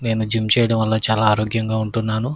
నేను జిం చేయడం వల్ల చాలా ఆరోగ్యాంగా ఉంటున్నాను.